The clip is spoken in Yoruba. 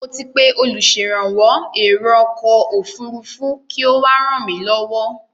Mo ti pé olùṣèrànwọ́ èro ọkọ̀ òfurufú kí ó wá ràn mí lọ́wọ́.